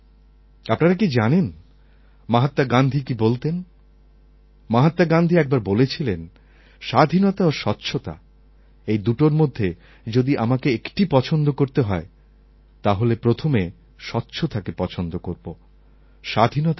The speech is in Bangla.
আপনারা কি জানেন মহাত্মা গান্ধী কি বলতেন মহাত্মা গান্ধী একবার বলেছিলেন স্বাধীনতা ও স্বচ্ছতা এই দুটোর মধ্যে যদি আমাকে একটা পছন্দ করতে হয় তাহলে আমি প্রথমে স্বচ্ছতাকে পছন্দ করবো স্বাধীনতাকে পরে